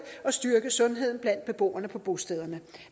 og styrke sundheden blandt beboerne på bostederne